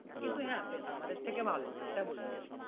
কিন্তু হ্যাঁ বেশ আমাদের থেকে ভালো এটা বলতে পারি